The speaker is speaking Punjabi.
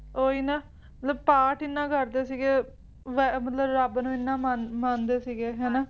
ਓਹੀ ਨਾ ਮਤਲਬ ਪਾਠ ਐਨਾ ਕਰਦੇ ਸੀਗੇ ਮਤਲਬ ਵਾਹੇ`ਰੱਬ ਨੂੰ ਐਨਾ ਮੰਨਦੇ ਸੀਗੇ ਹੈ ਨਾ